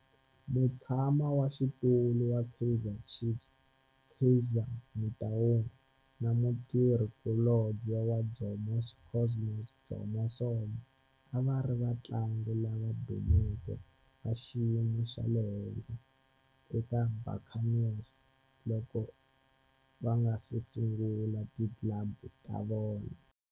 Mutshama xitulu wa Kaizer Chiefs Kaizer Motaung na mutirhi kulobye wa Jomo Cosmos Jomo Sono a va ri vatlangi lava dumeke va xiyimo xa le henhla eka Buccaneers loko va nga si sungula ti club ta vona.